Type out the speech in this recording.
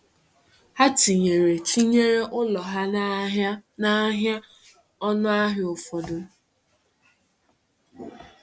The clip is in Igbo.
Ha tinyere tinyere ụlọ ha n’ahịa n’ahịa ọnụ ahịa ụfọdụ.